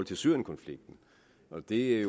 til syrienkonflikten men det